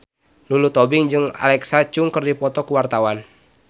Lulu Tobing jeung Alexa Chung keur dipoto ku wartawan